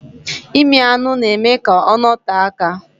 ịmị anụ na-eme ka ọ nọtee aka.